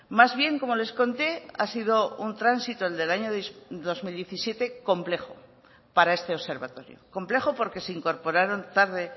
más bien como les conté ha sido un tránsito el del año dos mil diecisiete complejo para este observatorio complejo porque se incorporaron tarde